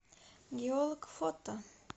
геолог фото